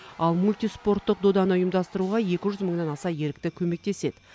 ал мультиспорттық доданы ұйымдастыруға екі жүз мыңнан аса ерікті көмектеседі